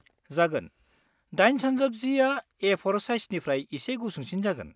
जागोन, 8x10 आ ए4 साइजनिफ्राय एसे गुसुंसिन जागोन।